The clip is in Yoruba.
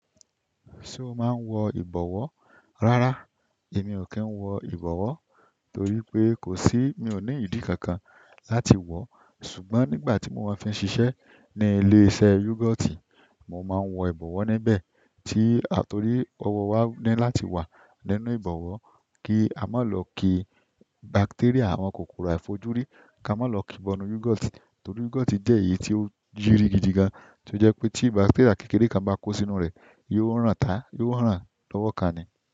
Ṣé o máa ń wọ ìbọ̀wọ́? Rárá, èmi ò kí ń wọ ìbọ̀wọ́ torí pé kò sí, mi ò ní ìdí kankan láti wọ̀ọ́. Ṣùgbọ́n nígbà tí mo máa fi ń ṣiṣẹ́ ní ilé-iṣẹ́ yogurt mo máa ń wọ ìbọ̀wọ́ níbẹ̀ tí, torí ọwọ́ wa ni láti wà nínú ìbọ̀wọ́ kí a má lọ ki bacteria àwọn kòkòrò àìfojúrí, kí a má lọ ki bọ́nú yogurt torí yogurt jẹ́ èyí tí ó jiri gidigan. Tí ó jẹ́ pé tí bacteria kékeré kan bá kó sínú rẹ̀, yóò ràn táa, yó ràn lọ́wọ́ ká ni.